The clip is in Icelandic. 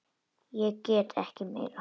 Ég get ekki meira.